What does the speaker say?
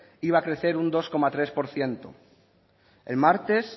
iba a crecer un dos coma tres por ciento el martes